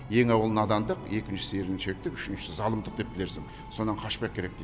ең әуелі надандық екіншісі еріншектік үшіншісі залымдық деп білерсің содан қашпақ керек дейді